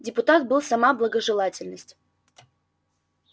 депутат был сама благожелательность